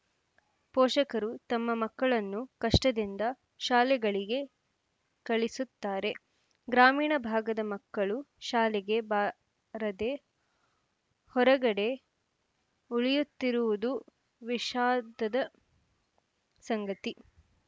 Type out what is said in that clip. ಪೋಷಕರು ತಮ್ಮ ಮಕ್ಕಳನ್ನು ಕಷ್ಟದಿಂದ ಶಾಲೆಗಳಿಗೆ ಕಳಿಸುತ್ತಾರೆ ಗ್ರಾಮೀಣ ಭಾಗದ ಮಕ್ಕಳು ಶಾಲೆಗೆ ಬಾ ರದೇ ಹೊರಗಡೆ ಉಳಿಯುತ್ತಿರುವುದು ವಿಷಾದದ ಸಂಗತಿ